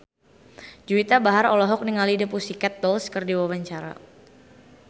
Juwita Bahar olohok ningali The Pussycat Dolls keur diwawancara